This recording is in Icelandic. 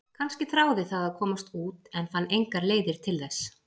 Kannski þráði það að komast út en fann engar leiðir til þess?